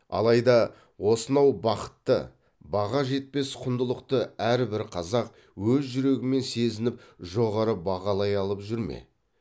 алайда осынау бақытты баға жетпес құндылықты әрбір қазақ өз жүрегімен сезініп жоғары бағалай алып жүр ме